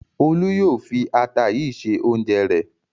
Olú yóò fi ata yìí se oúnjẹ rẹ̀.